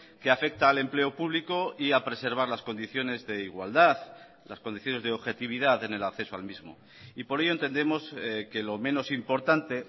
que afecta al empleo público y a preservar las condiciones de igualdad las condiciones de objetividad en el acceso al mismo y por ello entendemos que lo menos importante